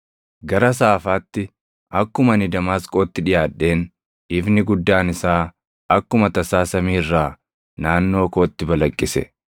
“Gara saafaatti, akkuma ani Damaasqootti dhiʼaadheen ifni guddaan isaa akkuma tasaa samii irraa naannoo kootti balaqqise.